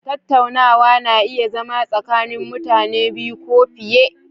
Tattaunawa na iya zama tsakanin mutane biyu ko fiye